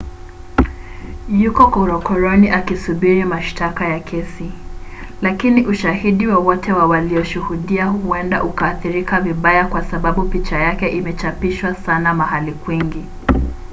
yuko korokoroni akisubiri mashtaka na kesi lakini ushahidi wowote wa walioshuhudia huenda ukaathirika vibaya kwa sababu picha yake imechapishwa sana mahali kwingi